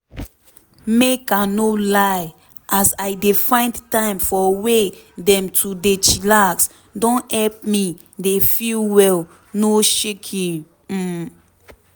make i no lie as i dey find time for way dem to dey chillax don help me dey feel well no shaking. um